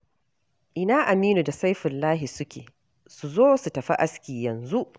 Ina Aminu da Saifullahi suke? Su zo su tafi aski yanzu.